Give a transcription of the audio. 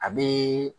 A be